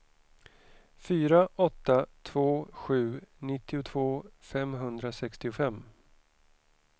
fyra åtta två sju nittiotvå femhundrasextiofem